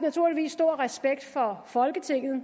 naturligvis stor respekt for folketinget